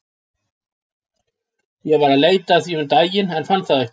Ég var að leita að því um daginn en fann það ekki.